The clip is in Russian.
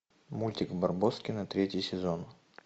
мультик барбоскины третий сезон